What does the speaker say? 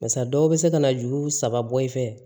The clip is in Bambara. Barisa dɔw bɛ se ka na juru saba bɔ i fɛ